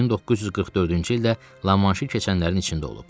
1944-cü ildə Lamanşı keçənlərin içində olub.